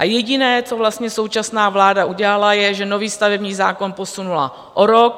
A jediné, co vlastně současná vláda udělala, je, že nový stavební zákon posunula o rok.